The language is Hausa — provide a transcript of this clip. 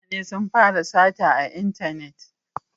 Mutane sun fara sata a intanet